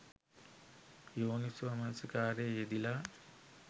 යෝනිසෝ මනසිකාරයේ යෙදිලා